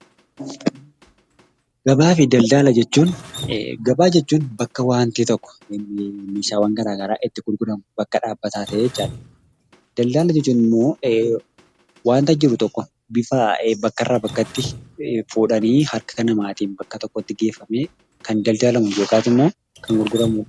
Gabaa fi daldala jechuun gabaa jechuun bakka waanti tokko, meeshaawwan garaa garaa itti gurguramu, bakka dhaabbataa ta'e jechaadha. Daldala yoo jennu immoo waanta jiru tokko bifa bakka irraa bakkatti fuudhanii harka namaatiin bakka tokkotti geeffamee kan daldalamu yookaas immoo kan gurguramu.